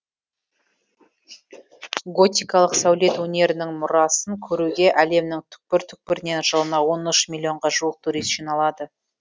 готикалық сәулет өнерінің мұрасын көруге әлемнің түкпір түкпірінен жылына он үш миллионға жуық турист жиналады